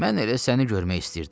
Mən elə səni görmək istəyirdim.